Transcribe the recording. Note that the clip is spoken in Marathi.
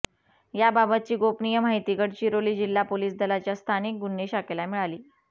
याबाबतची गोपनीय माहिती गडचिरोली जिल्हा पोलिस दलाच्या स्थानिक गुन्हे शाखेला मिळाली